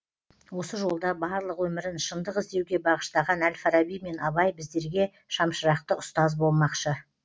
осы жолда барлық өмірін шындық іздеуге бағыштаған әл фараби мен абай біздерге шамшырақты ұстаз болмақшы